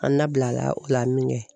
An labila la o la min kɛ